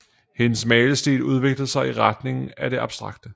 Hendes malestil udviklede sig i retning af det abstrakte